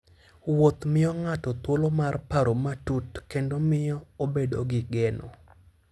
Wuoth miyo ng'ato thuolo mar paro matut kendo miyo obedo gi geno.